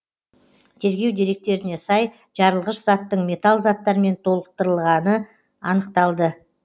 тергеу деректеріне сай жарылғыш заттың металл заттармен толықтырылғаны анықталды